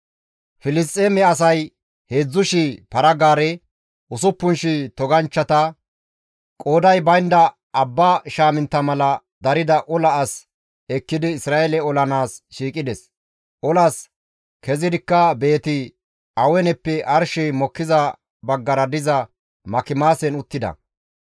Filisxeeme asay 3,000 para-gaare, 6,000 toganchchata, qooday baynda abba shaamintta mala darida ola as ekkidi Isra7eele olanaas shiiqides; olas kezidikka Beeti-Aweneppe arshey mokkiza baggara diza Makimaasen uttida.